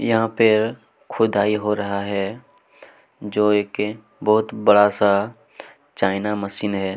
यहाँ पर खुदाई हो रहा है जो एक बहुत बड़ा सा चाइना मशीन हैं।